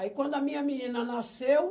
Aí quando a minha menina nasceu...